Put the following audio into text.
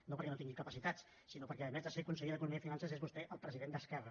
no perquè no tingui capacitats sinó perquè a més de ser conseller d’economia i finances és vostè el president d’esquerra